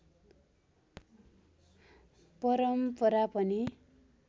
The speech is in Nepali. परम्परा पनि